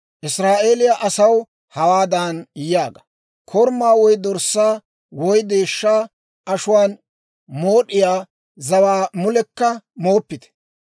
«Israa'eeliyaa asaw hawaadan yaaga; ‹Korumaa woy dorssaa woy deeshshaa ashuwaan mood'iyaa zawaa mulekka mooppite.